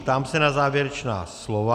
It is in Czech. Ptám se na závěrečná slova.